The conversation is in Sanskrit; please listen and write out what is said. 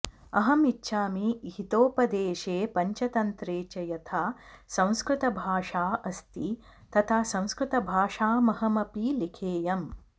अहं इच्छामि हितोपदेशे पञ्चतन्त्रे च यथा संस्कृतभाषा अस्ति तथा संस्कृतभाषामहमपि लिखेयम्